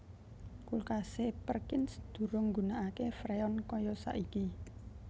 Kulkase Perkins durung nggunakake Freon kaya saiki